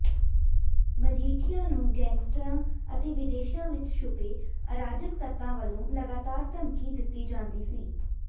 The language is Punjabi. ਮਜੀਠੀਆ ਨੂੰ ਗੈਂਗਸਟਰਾਂ ਅਤੇ ਵਿਦੇਸ਼ਾਂ ਵਿਚ ਛੁਪੇ ਅਰਾਜਕ ਤੱਤਾਂ ਵੱਲੋਂ ਲਗਾਤਾਰ ਧਮਕੀ ਦਿੱਤੀ ਜਾਂਦੀ ਸੀ